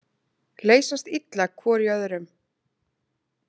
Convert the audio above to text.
Leysast illa hvor í öðrum.